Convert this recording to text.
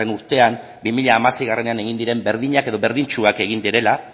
urtean bi mila hamaseiean egin diren berdinak edo berdintsuak egin direla